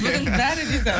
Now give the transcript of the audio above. бүгін бәрі риза